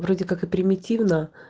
вроде как и примитивно